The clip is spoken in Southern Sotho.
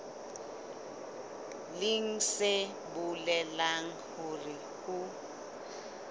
leng se bolelang hore ho